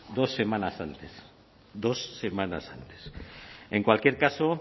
dos semanas antes dos semanas antes en cualquier caso